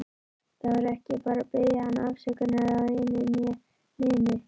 Þarf ekki að biðja hann afsökunar á einu né neinu.